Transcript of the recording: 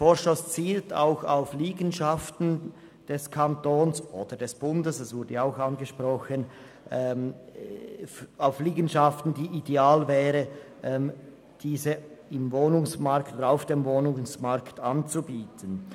Er zielt auch auf Liegenschaften des Kantons oder des Bundes – das wurde auch angesprochen –, die ideal wären, um sie auf dem Wohnungsmarkt anzubieten.